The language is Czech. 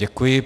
Děkuji.